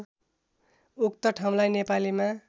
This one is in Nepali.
उक्त ठाउँलाई नेपालीमा